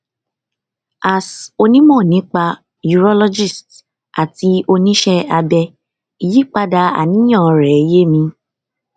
as onímọ nípa urologist àti oníṣẹ abẹ ìyípadà àníyàn rẹ yé mi